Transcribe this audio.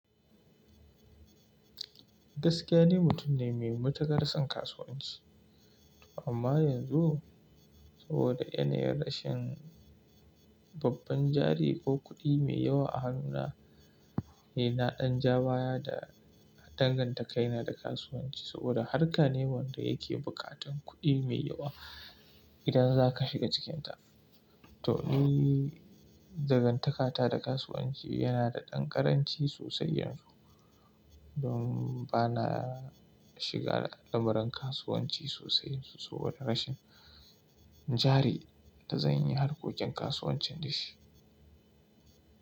Gaskiya ne mutum ne mai matuƙar son kasuwanci. Amma yanzu saboda yanayin rashin babban jari ko kuɗi mai yawa a hannuna, ey na ɗan ja baya da dangantakaina da kasuwanci. Saboda harka ne wanda yake buƙatar kuɗi mai yawa idan za ka shiga cikinta. To ni dangantakata da kasuwanci yana da ɗan ƙaranci sosai yanzu. Don ba na shiga al'amuran kasuwanci sosai saboda rashin jari da zan yi harkokin kasuwancin da shi.